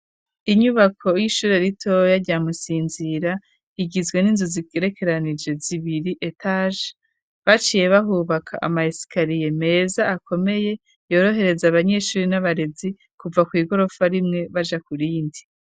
Inyubako y'ishuri ritoya ryamusinzira igizwe n'inzu zikerekeranije zibiri etaje baciye bahubaka amayesikariye meza akomeye yorohereza abanyeshuri n'abarezi kuva kw'igorofa rimwe baja ku rindi.